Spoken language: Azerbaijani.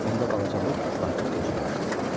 Onda balaca Muk artıq qocalmışdı.